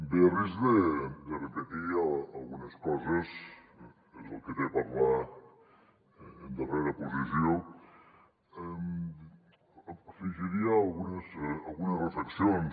bé a risc de repetir algunes coses és el que té parlar en darrera posició afegiria algunes reflexions